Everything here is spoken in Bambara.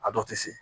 A dɔw tɛ se